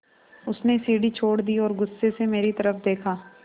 उसने सीढ़ी छोड़ दी और गुस्से से मेरी तरफ़ देखा